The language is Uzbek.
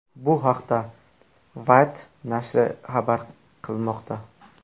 Bu haqda Wired nashri xabar qilmoqda .